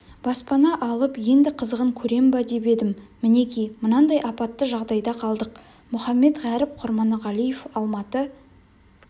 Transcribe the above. баспана алып енді қызығын көрем ба деп едім мінеки мынандай апатты жағдайда қалдық мұхаммедғәріп құрманғалиев алматы